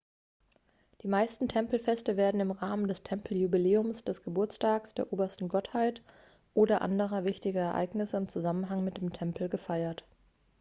die meisten tempelfeste werden im rahmen des tempeljubiläums des geburtstags der obersten gottheit oder anderer wichtiger ereignisse im zusammenhang mit dem tempel gefeiert